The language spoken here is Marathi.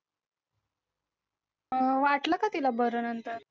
अं वाटलं का तिला बरं नंतर